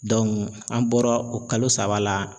an bɔra o kalo saba la.